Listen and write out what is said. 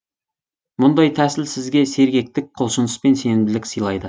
мұндай тәсіл сізге сергектік құлшыныс пен сенімділік сыйлайды